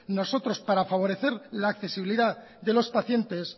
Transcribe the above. nosotros para favorecer la accesibilidad de los pacientes